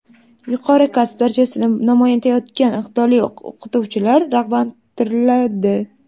yuqori kasb darajasini namoyon etayotgan iqtidorli o‘qituvchilar rag‘batlantiriladi.